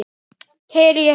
Keyri ég hratt?